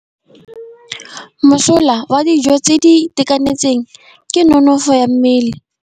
Mosola wa dijô tse di itekanetseng ke nonôfô ya mmele.